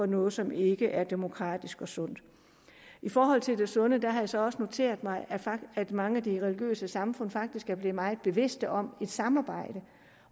noget som ikke er demokratisk og sundt i forhold til det med det sunde har jeg så også noteret mig at mange af de religiøse samfund faktisk er blevet meget bevidste om at samarbejde